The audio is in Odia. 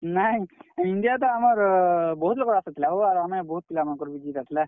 ନାଇଁ India ତ ଆମର୍ ବହୁତ୍ ଲୋକର୍ ଆଶା ଥିଲା ହୋ ଆର୍ ଆମେ ବହୁତ୍ ପିଲା ମାନକର୍ ବି ଜିତ୍ ଆସ୍ ଲା।